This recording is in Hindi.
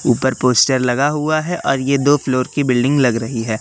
ऊपर पोस्टर लगा हुआ है और यह दो फ्लोर की बिल्डिंग लग रही है।